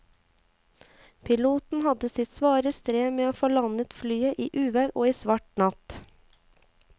Piloten hadde sitt svare strev med å få landet flyet i uvær og svart natt.